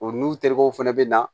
O n'u terikɛw fana bɛ na